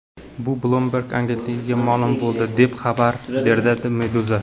Bu Bloomberg agentligiga ma’lum bo‘ldi, deb xabar beradi Meduza.